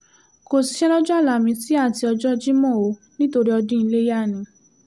kò síṣẹ́ lọ́jọ́ álámísì àti ọjọ́ jimo o nítorí ọdún iléyà ni